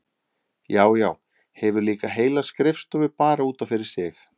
Já, já, hefur líka heila skrifstofu bara út af fyrir sig!